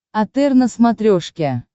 отр на смотрешке